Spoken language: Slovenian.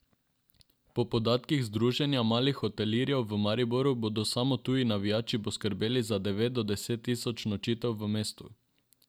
Po podatkih Združenja malih hotelirjev v Mariboru bodo samo tuji navijači poskrbeli za devet do deset tisoč nočitev v mestu.